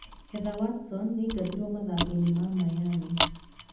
Heather Watson nĩ aingatirũo mathako-inĩ ma Miami.